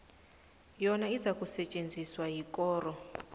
yona izakusetjenziswa yikoro